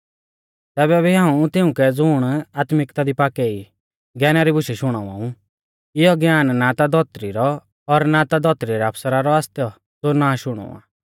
तैबै भी हाऊं तिउंकै ज़ुण आत्मिक्ता दी पाक्कै ई ज्ञाना री बुशै शुणावा ऊ इयौ ज्ञान ना ता धौतरी रौ और ना धौतरी रै आफसरा रौ आसतौ ज़ो नाश हुणौ आ